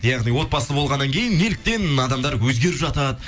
яғни отбасы болғаннан кейін неліктен адамдар өзгеріп жатады